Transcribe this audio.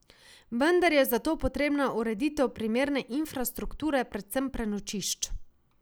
Vendar je za to potrebna ureditev primerne infrastrukture, predvsem prenočišč.